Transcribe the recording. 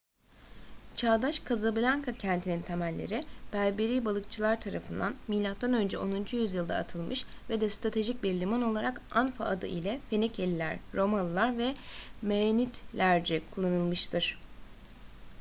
çağdaş kazablanka kentinin temelleri berberi balıkçılar tarafından mö 10. yüzyılda atılmış ve de stratejik bir liman olarak anfa adı ile fenikeliler romalılar ve merenidlerce kullanılmıştır